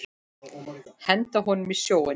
Henda honum í sjóinn!